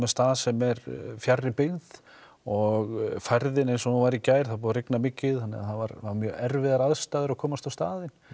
stað sem er fjarri byggð og færðin eins og hún var í gær það er búið að rigna mikið þannig að voru mjög erfiðar aðstæður að komast á staðinn